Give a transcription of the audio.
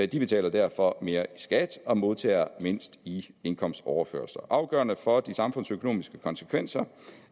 de betaler derfor mere i skat og modtager mindst i indkomstoverførsler afgørende for de samfundsøkonomiske konsekvenser